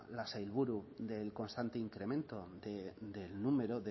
la saiburu del constante incremento del número